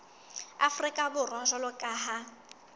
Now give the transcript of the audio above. afrika borwa jwalo ka ha